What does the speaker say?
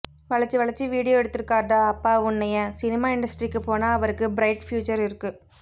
வளைச்சி வளைச்சி விடியோ எடுத்திருக்கார்டா அப்பா உன்னைய சினிமா இன்டஸ்ட்ரிக்கு போனா அவருக்கு ப்ரைட் ஃப்யூச்சர் இருக்கு